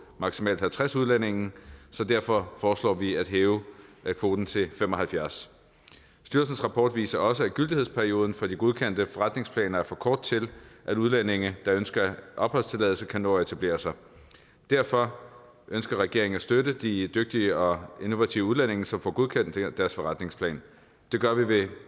maksimalt halvtreds udlændinge så derfor foreslår vi at hæve kvoten til fem og halvfjerds styrelsens rapport viser også at gyldighedsperioden for de godkendte forretningsplaner er for kort til at udlændinge der ønsker opholdstilladelse kan nå at etablere sig derfor ønsker regeringen at støtte de dygtige og innovative udlændinge som får godkendt deres forretningsplan det gør vi